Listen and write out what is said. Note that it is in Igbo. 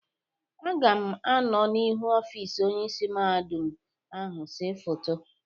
Aga m anọọ n'ihu ọfịs Onyeisi Mahadum ahụ séé foto.